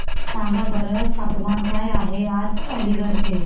सांगा बरं तापमान काय आहे आज अलिगढ चे